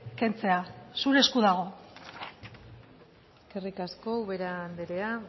kentzea zure esku dago eskerrik asko ubera anderea